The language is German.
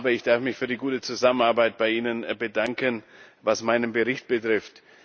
Ich darf mich für die gute Zusammenarbeit bei Ihnen bedanken, was meinen Bericht betrifft.